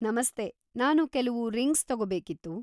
ನಮಸ್ತೆ, ನಾನು ಕೆಲವು ರಿಂಗ್ಸ್ ತಗೋಬೇಕಿತ್ತು.